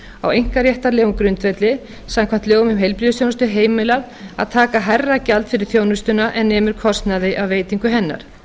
á einkaréttarlegum grundvelli samkvæmt lögum um heilbrigðisþjónustu heimilað að taka hærra gjald fyrir þjónustuna en nemur kostnaði af veitingu hennar